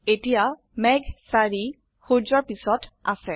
এতিয়া মেঘ ৪ সূৰ্যৰ পিছত আছে